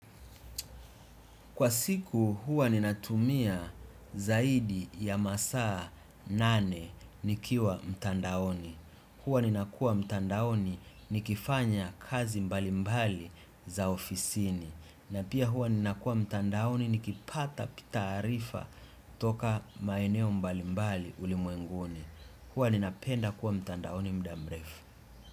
Kwa siku huwa ninatumia zaidi ya masaa nane nikiwa mtandaoni. Huwa ninakua mtandaoni nikifanya kazi mbalimbali za ofisini. Na pia huwa ninakuwa mtandaoni nikipata taarifa toka maeneo mbalimbali ulimwenguni. Huwa ninapenda kuwa mtandaoni muda mrefu.